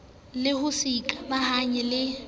le ho se ikamahanye le